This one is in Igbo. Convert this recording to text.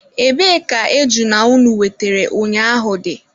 Ebee ka ejuna unu wetere ụnyaahụ dị?